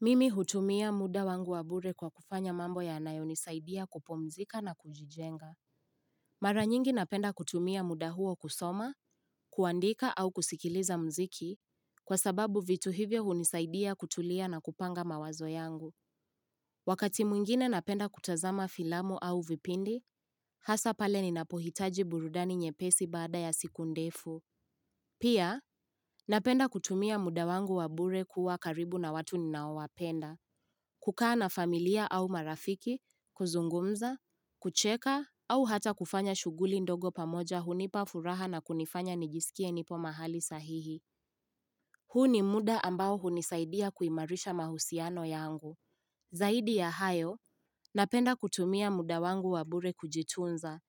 Mimi hutumia muda wangu wabure kwa kufanya mambo ya anayo nisaidia kupumzika na kujijenga. Maranyingi napenda kutumia muda huo kusoma, kuandika au kusikiliza mziki, kwa sababu vitu hivyo hunisaidia kutulia na kupanga mawazo yangu. Wakati mwingine napenda kutazama filamu au vipindi, hasa pale ninapohitaji burudani nyepesi baada ya siku ndefu. Pia, napenda kutumia muda wangu wabure kuwa karibu na watu ninaowapenda. Kukaa na familia au marafiki, kuzungumza, kucheka au hata kufanya shuguli ndogo pamoja hunipafuraha na kunifanya niijsikie nipo mahali sahihi. Huu ni muda ambao hunisaidia kuimarisha mahusiano yangu. Zaidi ya hayo, napenda kutumia muda wangu wabure kujitunza.